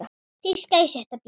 Þýska í sjötta bé.